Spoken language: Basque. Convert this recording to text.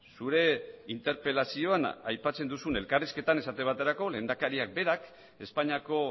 zure interpelazioan aipatzen duzun elkarrizketan esate baterako lehendakariak berak espainiako